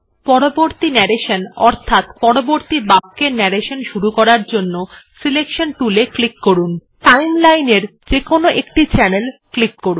পরবর্তী ন্যারেশন অর্থাৎ পরবর্তী বাক্যের ন্যারেশন শুরু করার জন্য সিলেকশন tool এ ক্লিক করুন timeline এর যেকোন একটি চ্যানেলে ক্লিক করুন